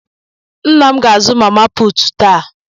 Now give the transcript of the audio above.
Nna m ga-azụ mama puutu taa.